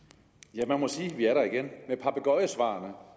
ja og